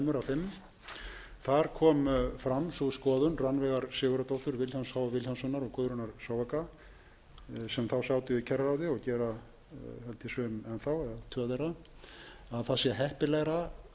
fimm þar kom fram sú skoðun rannveigar sigurðardóttur vilhjálms h vilhjálmssonar og guðrúnar sem þá sátu í kjararáð og gera held ég sum enn þá eða tvö þeirra með leyfi forseta að heppilegra sé